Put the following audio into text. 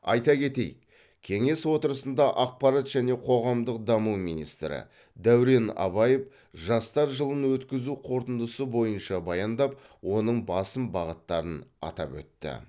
айта кетейік кеңес отырысында ақпарат және қоғамдық даму министрі дәурен абаев жастар жылын өткізу қорытындысы бойынша баяндап оның басым бағыттарын атап өтті